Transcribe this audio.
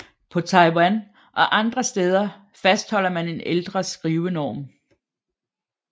På Taiwan og andre steder fastholder man en ældre skrivenorm